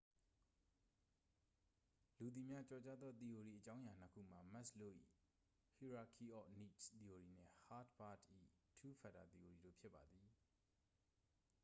လူသိများကျော်ကြားသော သီအိုရီအကြောင်းအရာနှစ်ခုမှာ မက်စ်လိုး ၏ hierarchy of needs သီအိုရီနှင့် ဟားတ်ဘာတ့် ၏ two factor သီအိုရီတို့ဖြစ်ပါသည်